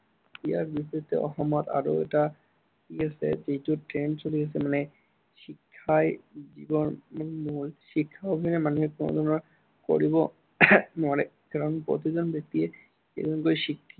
ইয়াৰ বিপৰীতে অসমত আৰু এটা কি আছে যিটো trend চলি আছে, মানে শিক্ষাই জীৱনৰ মূল, শিক্ষা অবিহনে মানুহে কল্পনা কৰিব নোৱাৰে। কাৰন প্ৰতিজন ব্য়ক্তিয়ে একোজন শিক্ষাত